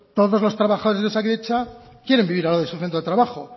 todos los trabajadores de osakidetza quieren vivir al lado de su centro de trabajo